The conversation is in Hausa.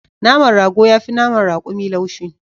Naman rago yafi naman rakumi laushi